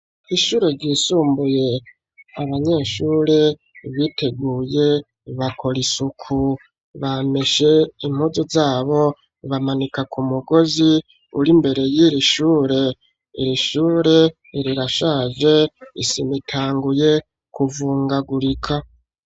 Ishure ryisumbuye abanyeshuri biteguye bakora isuku bameshe impuzu zabo bamanika ku mugozi uri imbere y'irishure, irishure rirashaje isima itanguye kuvungagurika.